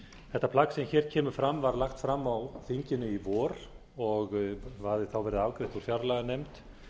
þetta plagg sem hér kemur fram var lagt fram á þinginu í vor og hafði þá verið afgreitt úr fjárlaganefnd